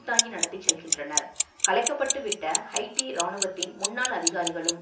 தாங்கி நடத்தி செல்கின்றனர் கலைக்கப்பட்டுவிட்ட ஹைட்டி இராணுவத்தின் முன்னாள் அதிகாரிகளும்